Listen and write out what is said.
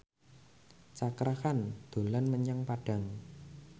Cakra Khan dolan menyang Padang